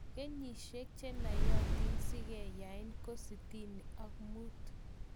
Kenyisyiek chenayatiin sikanyain ko sitini ak muut